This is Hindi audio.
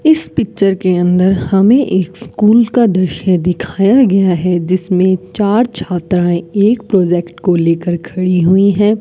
इस पिक्चर के अंदर हमें एक स्कूल का दृश्य दिखाया गया है जिसमें चार छात्राएं एक प्रोजेक्ट को लेकर खड़ी हुई हैं।